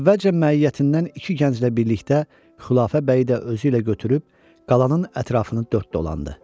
Əvvəlcə məiyyətindən iki gənclə birlikdə Xulafə bəyi də özü ilə götürüb qalanın ətrafını dörd dolandı.